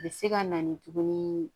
A bɛ se ka na ni tuguni